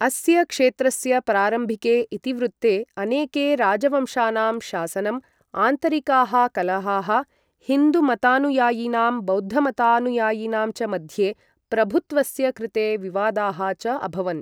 अस्य क्षेत्रस्य प्रारम्भिके इतिवृत्ते अनेके राजवंशानां शासनं, आन्तरिकाः कलहाः, हिन्दुमतानुयायिनां बौद्धमतानुयायिनां च मध्ये प्रभुत्वस्य कृते विवादाः च अभवन्।